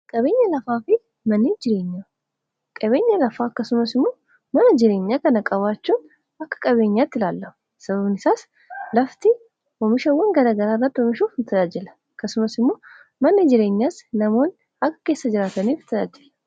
qabeenya lafaa akkasumas immoo mana jireenyaa kana qabaachuun akka qabeenyaatti ilaallama sababan isaas lafti moomishawwan garagara rra oomishuuf tajajila akkasumas immoo manni jireenyaas namoon akka keessa jiraataniif tajaajilla